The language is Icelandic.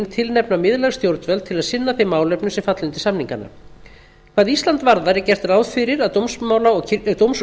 tilnefna miðlæg stjórnvöld til að sinna þeim málefnum sem falla undir samningana hvað ísland varðar er gert ráð fyrir að dóms og